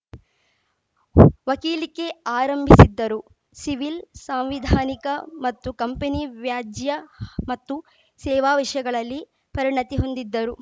ವಕೀಲಿಕೆ ಆರಂಭಿಸಿದ್ದರು ಸಿವಿಲ್‌ ಸಾಂವಿಧಾನಿಕ ಮತ್ತು ಕಂಪನಿ ವ್ಯಾಜ್ಯ ಮತ್ತು ಸೇವಾ ವಿಷಯಗಳಲ್ಲಿ ಪರಿಣತಿ ಹೊಂದಿದ್ದರು